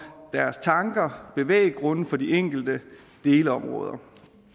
deres tanker og bevæggrunde for de enkelte delområder